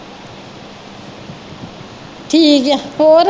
ਠੀਕ ਆ ਹੋਰ